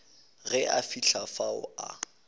ge a fihla fao a